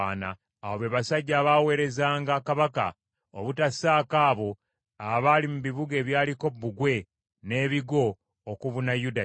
Abo be basajja abaaweerezanga kabaka, obutassaako abo abaali mu bibuga ebyaliko bbugwe n’ebigo okubuna Yuda yonna.